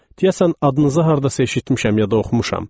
Diyəsən adınızı hardasa eşitmişəm yada oxumuşam.